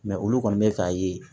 olu kɔni bɛ k'a ye